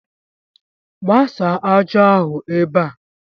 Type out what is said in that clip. Gbasa ájá ahụ ebe a!